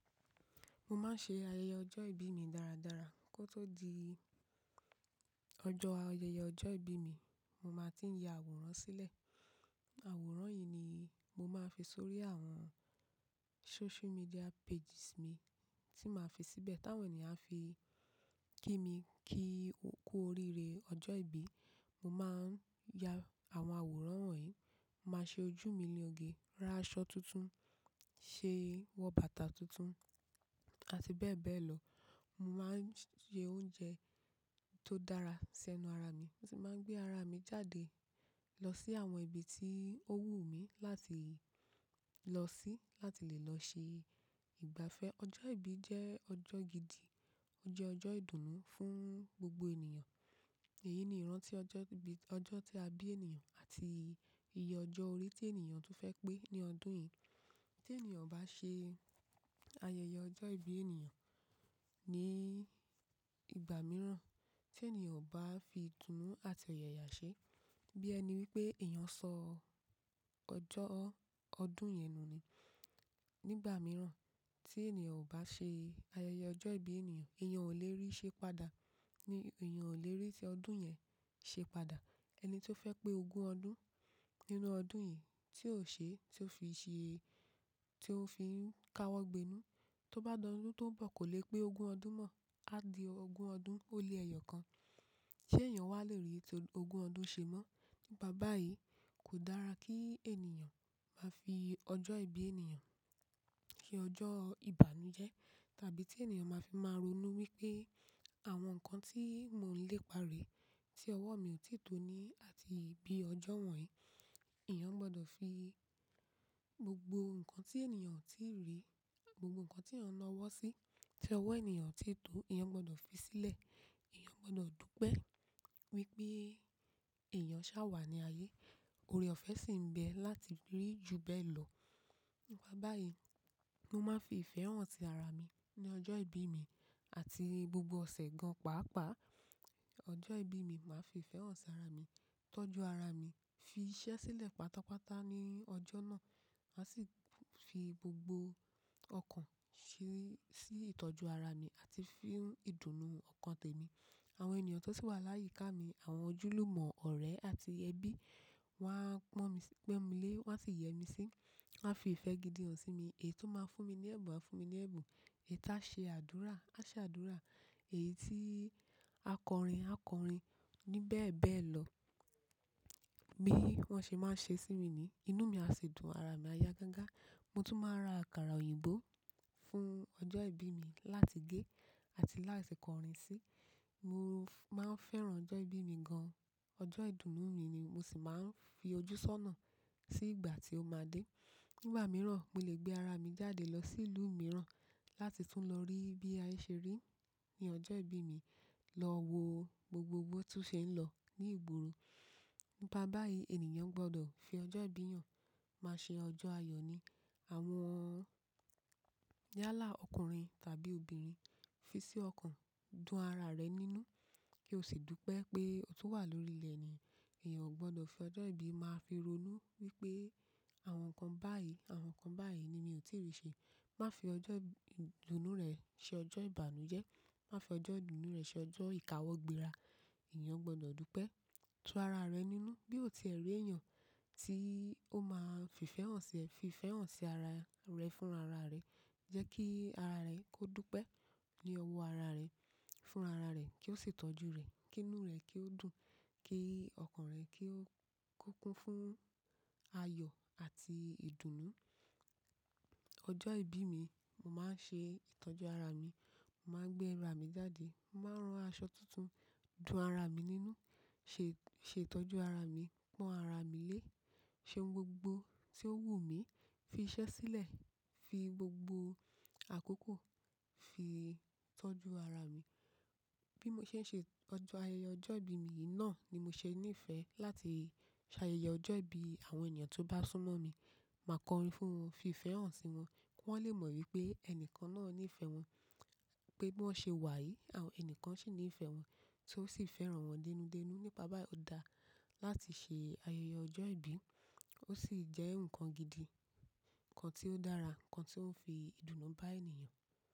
Mo máa ń ṣe ayẹyẹ ọjọ́ ìbí mi dáradára. Kó tó di, ọjọ́ ayẹyẹ ọjọ́ ìbí mi, mo máa ti ń ya àwòrán sílẹ̀. Àwòrán yìí ni, mo máa fi sórí àwọn social media pages mi, tí màá fi síbẹ̀. Táwọn ènìyàn á fi kí mi kíí, kú oríire ọjọ́ ìbí, mo máa ń ya àwọn àwòrán wọ̀nyí. Màá ṣe ojú mi lī oge, ra aṣọ tuntun, ṣe wọ bàtà tuntun, àti bẹ́ẹ̀ bẹ́ẹ̀ lọ. Mo máa ń ṣe oúnjẹ, tó dára sẹ́nu ara mi, mo tún máa ń gbé ara mi jáde, lọ sí àwọn ibi tí ó wù mí láti lọ sí, láti lè lọ ṣe ìgbafẹ́. Ọjọ́ ìbí jẹ́ ọjọ́ gidi, ó jẹ́ ọjọ́ ìdùnnú fún gbogbo ènìyàn. Èyí ni ìran tí ọjọ́ ìbí, ọjọ́ tí a bí ènìyàn àti iye ọjọ́ orí tí ènìyàn tún fẹ́ pé ní ọdún yìí. Tí ènìyàn ò bá ṣe ayẹyẹ ọjọ́ ìbí ènìyàn níì ìgbà mìíràn, tí ènìyàn ò bá fi ìdùnnú àti ọ̀yààyà ṣe, bí ẹni wípé èèyàn sọ ọjọ́ ọdún yẹn nù ni. Nígbà mìíràn, tí ènìyàn ò bá ṣe ayẹyẹ ọjọ́ ìbí ènìyàn, èèyàn ò lè rí i ṣe pada, ní èèyàn ò lè rí i tí ọdún yẹn ṣe pada. Ẹni tó fẹ́ pé ogún ọdún, nínú ọdún yìí, tí ò ṣe, tí ó fi ṣe, tí ó fi n ka wọ́ gbenú, tó bá ló lójó ń bọ̀ kò lè pé ogún ọdún mọ̀, á di ogún ọdún olè ẹ̀yọ̀ kan. Ṣé èèyàn wà lè rí i tí ogún ọdún ṣe mọ́? Nípa báyì, í kò dára kí ènìyàn, máa fi ọjọ́ ìbí ènìyàn, ṣe ọjọ́ ìbànújẹ́. Tàbí tí ènìyàn máa fi máa ronú wípé, àwọn nǹkan tí mò ún lè paré, tí ọwọ́ mi ò tètò ní àti bí ọjọ́ wọ̀nyí, èèyàn gbọdọ̀ fi gbogbo nǹkan tí ènìyàn ò tíì rí, gbogbo nǹkan tí èèyàn na ọwọ́ sí, tí ọwọ́ ènìyàn ò titò, èèyàn gbọdọ̀ fi sílẹ̀. Ẹ̀èyàn gbọdọ̀ dúpẹ́, wípé èèyàn ṣàwà ní ayé, ore ọ̀fẹ́ sì m bẹ láti rí ju bẹ́ẹ̀ lọ. Ní báyìí, mo máa ń fi ìfẹ́ hàn tara mi, ní ọjọ́ ìbí mi, àti gbogbo ọ̀sẹ̀ gan-paàpaà. Ọjọ́ ìbí mi, màá fi ìfẹ́ hàn sí ara mi, tọ́jú ara mi, fi iṣẹ́ sílẹ̀ pátápátá ní ọjọ́ náà. Màá sì, fi gbogbo ọkàn ṣe sí ìtọ́jú ara mi, àti fún ìdùnnú ọkàn tèmi. Àwọn ènìyàn tó sì wà láyíká mi, àwọn ojúlùmọ̀, ọ̀rẹ́ àti ẹbí, wọ́n á pọ́n mi, pón mi lé, wọ́n á sì yẹ mi sí, wọ́n á fi ìfẹ́ gidi hàn sí mi. Èyí tó máa ń fún mi ní ẹ̀bùn á fún mi ní ẹ̀bùn, èyí tí á ṣe àdúrà á ṣe àdúrà, èyí tí a kọrin á kọrin, ní bẹ́ẹ̀ bẹ́ẹ̀ lọ. Bí wọ́n ṣe máa ń ṣe sí mi niì, inú mi á sì dùn, ara mi á ya gangan. Mo tún máa ra àkàrà òyìnbó fún ọjọ́ ìbí mi láti gé àti láti kọrin sí. Mo, máa ń fẹ́ràn ọjọ́ ìbí mi gan. Ọjọ́ ìdùnnú mìí ni mo sì máa ń fi ojú ṣọ́nà, sí ìgbà tí ó máa dé. Nígbà mìíràn, mo lè gbé ara mi jáde lọ sí ìlú mìíràn, láti tún lọ rí bí ayé ṣe ríi, ní ọjọ́ ìbí mi, lọ wo gbogbo botun ṣe ń lọ ní ìgboro. Nípa báyìí ènìyàn gbọdọ̀ fi ọjọ́ ìbí hàn, má ṣe ọjọ́ ayọ̀ ni. Àwọn, yálà ọkùnrin tàbí obìnrin, fi sí ọkàn, dun ara rẹ nínú, kí o sì dúpẹ́ pé o tún wà lórí ilẹ̀ ni. Éẹ̀yàn ò gbọdọ̀ fi ọjọ́ ìbí máa fi ronú wípé, àwọn nǹkan báyìí, àwọn nǹkan báyìí, ni mi ò tí ì rí ṣe. Má fi ọjọ́ ìdùnnú rẹ ṣe ọjọ́ ìbànújẹ́. Má fi ọjọ́ ìdùnnú rẹ ṣe ọjọ́ ìkáwọ́ gbera. Éẹ̀yàn gbọdọ̀ dúpẹ́, tu ara rẹ nínú bí o ti ẹ̀ rí èèyàn, tí ó máa ń fi ìfẹ́ hàn sí ẹ, fi ìfẹ́ hàn sí ara rẹ fún ara rẹ. Jẹ́ kí ara rẹ kó dúpẹ́, ní ọwọ́ ara rẹ, fún ara rẹ kí ó sì tọ́jú rẹ, kí inú rẹ kí ó dùn, kí ọkàn rẹ kí ó kún fún, ayọ̀ àti ìdùnnú. Ọjọ́ ìbí mi, mo máa ń ṣe ìtọ́jú ara mi, màá gbé ẹran mi jáde, màá ran aṣọ tuntun, dun ara mi nínú, ṣe, ṣe ìtọ́jú ara mi, pọ́n ara mi lé, ṣe ohun gbogbo tí ó wù mí, fi iṣẹ́ sílẹ̀, fi gbogbo àkókò fi tọ́jú ara mi. Bí mo ṣe ń ṣe ọjọ́ ayẹyẹ ọjọ́ ìbí mi yìí náà, ni mo ṣe ní ìfẹ́ láti ṣe ayẹyẹ ọjọ́ ìbí àwọn ènìyàn tó bá súnmọ́ mi. Màá kọrin fún wọn, fi ìfẹ́ hàn sí wọn, kí wọ́n lè mọ̀ wípé ẹnìkan náà ní ìfẹ́ wọn, pé bí wọ́n ṣe wà yìí àwọn ẹnìkan sì ní ìfẹ́ wọn tí ó sì fẹ́ràn wọn dẹ́nudẹ́nu. Nípa báyìí ó dáa, láti ṣe ayẹyẹ ọjọ́ ìbí, ó sì jẹ́ nǹkan gidi, nǹkan tí ó dára, nǹkan tí ó ń fi ìdùnnú bá ènìyàn.